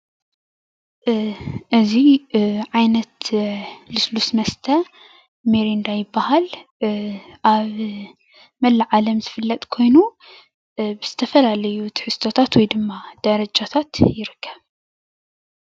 እዚ ዓይነት ልስሉስ መስተ ሚሪንዳ ይባሃል። ኣብ መላእ ዓለም ዝፍለጥ ኮይኑ፣ ብዝተፈላለዩ ትሕዝቶታት ወይድማ ደረጃታት ይርከብ፡፡